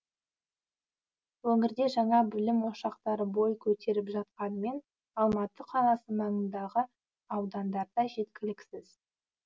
өңірде жаңа білім ошақтары бой көтеріп жатқанымен алматы қаласы маңындағы аудандарда жеткіліксіз